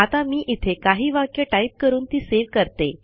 आता मी इथे काही वाक्ये टाईप करून ती सेव्ह करते